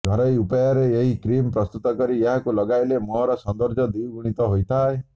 ଘରୋଇ ଉପାୟରେ ଏହି କ୍ରିମ୍ ପ୍ରସ୍ତୁତ କରି ଏହାକୁ ଲଗାଇଲେ ମୁହଁର ସୌନ୍ଦର୍ଯ୍ୟ ଦ୍ୱିଗୁଣିତ ହୋଇଥାଏ